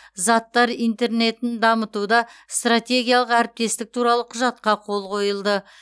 заттар интернетін дамытуда стратегиялық әріптестік туралы құжатқа қол қойылды